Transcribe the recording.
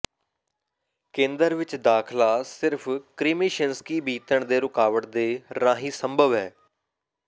ਕੇਂਦਰ ਵਿੱਚ ਦਾਖਲਾ ਸਿਰਫ ਕੇਰੀਮਿਸ਼ਿੰਸਕੀ ਬੀਤਣ ਦੇ ਰੁਕਾਵਟ ਦੇ ਰਾਹੀਂ ਸੰਭਵ ਹੈ